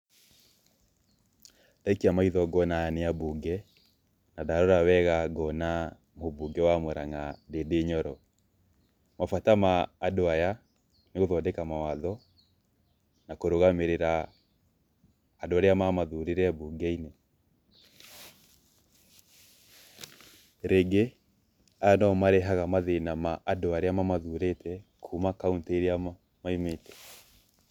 Ndaikia maitho ngona aya nĩ ambunge, na ndarora wega ngona mũmbunge wa Mũranga Ndĩndĩ Nyoro, mabata maandũ aya, nĩgũthodeka mawatho na kũrũgamĩrĩra andũ arĩa mamathurire mbunge-inĩ. Rĩngĩ, aya no o marehaga mathĩna ma andũ arĩa mamathurĩte kuuma kauntĩ ĩria maumĩte.